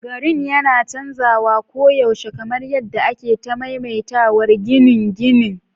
Garin yana canzawa koyaushe, kamar yadda ake ta maimaitawar ginin ginin.